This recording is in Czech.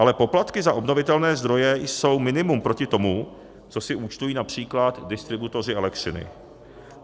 Ale poplatky za obnovitelné zdroje jsou minimum proti tomu, co si účtují například distributoři elektřiny.